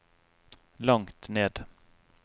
langt ned